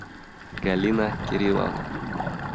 галина кирилловна